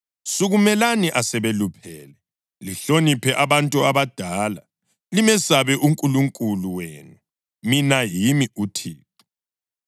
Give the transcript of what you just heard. Sukumelani asebeluphele, lihloniphe abantu abadala, limesabe uNkulunkulu wenu. Mina yimi uThixo.